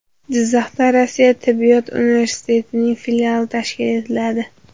Jizzaxda Rossiya tibbiyot universitetining filiali tashkil etiladi.